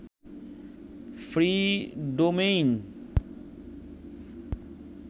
free domain